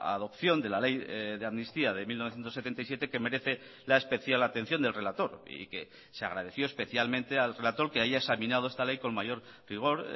adopción de la ley de amnistía de mil novecientos setenta y siete que merece la especial atención del relator y que se agradeció especialmente al relator que haya examinado esta ley con mayor rigor